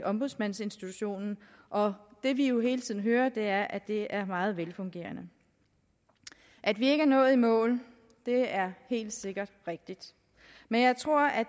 ombudsmandsinstitutionen og det vi jo hele tiden hører er at det er meget velfungerende at vi ikke er nået i mål er helt sikkert rigtigt men jeg tror at